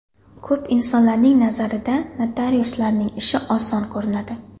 Ko‘p insonlarning nazarida notariuslarning ishi oson ko‘rinadi.